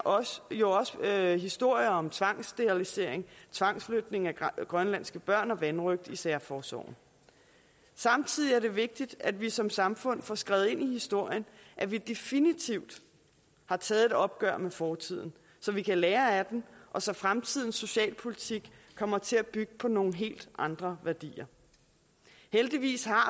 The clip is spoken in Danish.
jo også historier om tvangssterilisation tvangsflytning af grønlandske børn og vanrøgt i særforsorgen samtidig er det vigtigt at vi som samfund får skrevet ind i historien at vi definitivt har taget et opgør med fortiden så vi kan lære af den og så fremtidens socialpolitik kommer til at bygge på nogle helt andre værdier heldigvis har